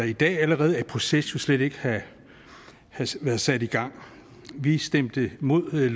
i dag allerede er i proces slet ikke have været sat i gang vi stemte imod